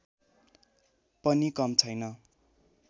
पनि कम छैन